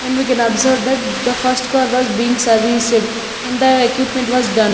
And we can observe that the first car was being serviced and the equipment was done.